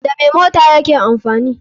Da me mota yake amfani